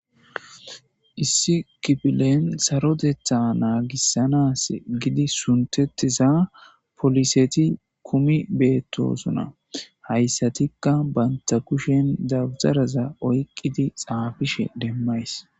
issi kipilen sarodetha naagissanas gidi suntettiza poliseti kumi beettosona hayssatikka banta kushen dabteraza oyqqidi xaafishe demmays